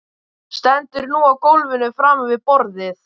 Stendur nú á gólfinu framan við borðið.